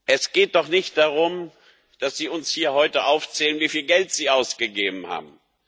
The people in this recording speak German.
Es geht doch nicht darum, dass Sie uns hier heute aufzählen, wieviel Geld Sie ausgegeben haben.